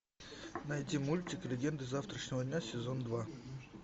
найди мультик легенды завтрашнего дня сезон два